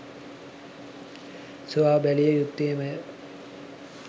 සොයා බැලිය යුත්තේමය.